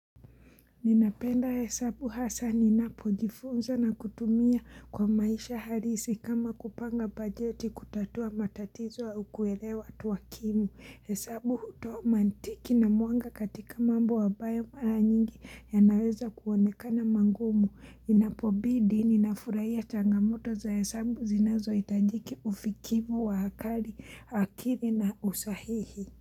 Ninapenda hesabu hasa ninapo jifunza na kutumia kwa maisha halisi kama kupanga bajeti kutatua matatizo au kuelewa tuwakimu. Hesabu hutoa mantiki na mwanga katika mambo ambayo maranyingi ya naweza kuonekana magumu. Inapobidi ninafuraia changamoto za hesabu zinazo hitajiki ufikivu wa hakari akiri na usahihi.